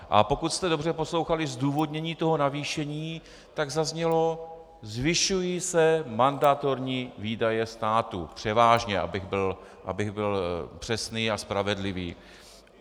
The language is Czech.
A pokud jste dobře poslouchali zdůvodnění toho navýšení, tak zaznělo: zvyšují se mandatorní výdaje státu, převážně, abych byl přesný a spravedlivý.